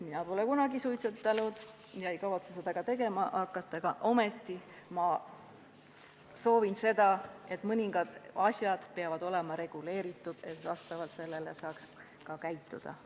Mina pole kunagi suitsetanud ega kavatse seda ka tegema hakata, aga ma arvan, et mis tahes asjad peavad olema reguleeritud, et vastavalt sellele saaks ka käituda.